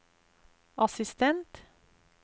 assistent